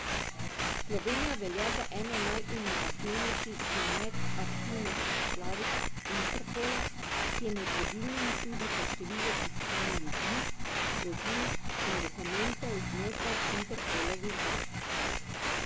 Slovenija velja za eno najinovativnejših in najaktivnejših članic Interpola, ki je med vodilnimi tudi po številu iskanj ljudi, vozil in dokumentov znotraj Interpolovih baz.